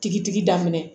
Tigitigi daminɛ